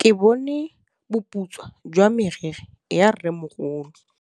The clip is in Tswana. Ke bone boputswa jwa meriri ya rrêmogolo.